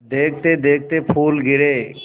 देखते देखते फूल गिरे